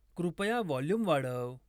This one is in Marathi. कृपया व्हॉल्यूम वाढव